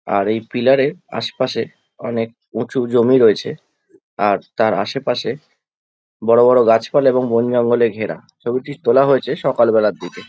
আর এই পিলার এর আশপাশে অনেক উঁচু জমি রয়েছে। আর তার আশেপাশে বড় বড় গাছপালা আর বনজঙ্গলে ঘেরা। ছবিটি তোলা হয়েছে সকাল বেলার দিকে।